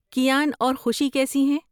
کیان اور خوشی کیسی ہیں؟